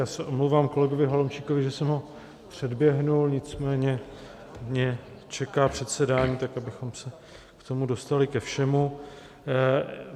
Já se omlouvám kolegovi Holomčíkovi, že jsem ho předběhl, nicméně mě čeká předsedání, tak abychom se k tomu dostali ke všemu.